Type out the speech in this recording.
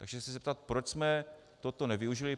Takže se chci zeptat, proč jsme toto nevyužili.